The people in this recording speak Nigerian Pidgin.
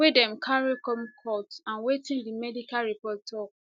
wey dem carry come court and wetin di medical report tok